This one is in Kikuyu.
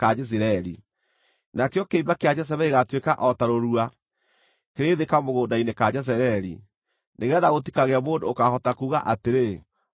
Nakĩo kĩimba kĩa Jezebeli gĩgaatuĩka o ta rũrua kĩrĩ thĩ kamũgũnda-inĩ ka Jezireeli, nĩgeetha gũtikagĩe mũndũ ũkaahota kuuga atĩrĩ, ‘Ũyũ nĩ Jezebeli.’ ”